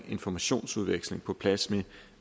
informationsudveksling på plads med